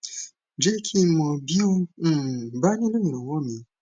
jẹ kí n mọ bí o um bá nílò ìranwọ míì